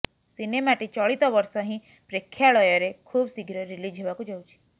ସିନେମାଟି ଚଳିତ ବର୍ଷ ହିଁ ପ୍ରେକ୍ଷାଳୟରେ ଖୁବ ଶିଘ୍ର ରିଲିଜ୍ ହେବାକୁ ଯାଉଛି